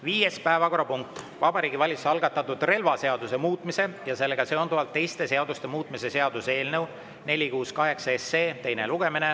Viies päevakorrapunkt: Vabariigi Valitsuse algatatud relvaseaduse muutmise ja sellega seonduvalt teiste seaduste muutmise seaduse eelnõu 468 teine lugemine.